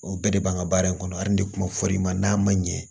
O bɛɛ de b'an ka baara in kɔnɔ hali ni ne kun ma fɔ i ma n'a ma ɲɛ